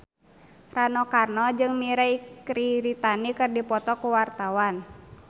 Rano Karno jeung Mirei Kiritani keur dipoto ku wartawan